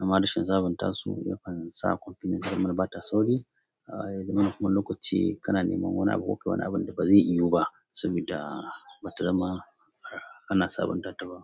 Amma rashin sabunta su yakan sa kwamfutar ta zama bata sauri. Eh domin kuma lokaci kana neman wani abu ko kai wani abun da bazai iwo ba sabida bata zama ana sabinta ta ba.